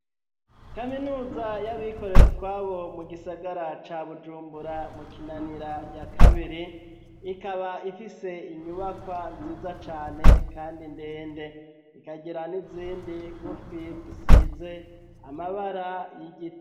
Kaminuza y'abikorera utwabo mu gisagara ca Bujumbura mu Kinanira ya kabiri ikaba ifise inyubakwa nziza cane kandi ndende ikagira n'izindi ngufi zisize amabara y'igiti.